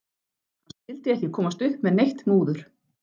Hann skyldi ekki komast upp með neitt múður.